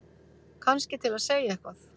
Kannski til að segja eitthvað.